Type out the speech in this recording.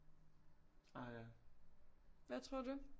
Hvad tror du